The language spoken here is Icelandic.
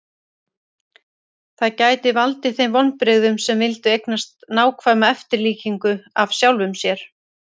Það gæti valdið þeim vonbrigðum sem vildu eignast nákvæma eftirlíkingu af sjálfum sér.